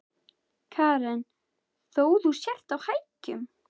Karen: Þó þú sért á hækjum?